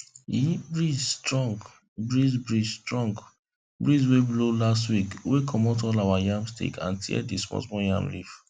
e breeze strong breeze breeze strong breeze wey blow last week wey comot all our yam stake and tear the small small yam leaf